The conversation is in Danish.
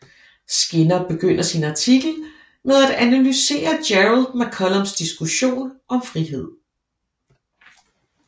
Skinner begynder sin artikel med at analysere Gerald McCallums diskussion om frihed